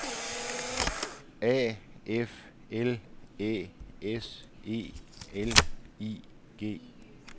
A F L Æ S E L I G